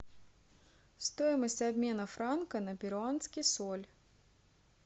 стоимость обмена франка на перуанский соль